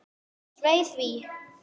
Svei því.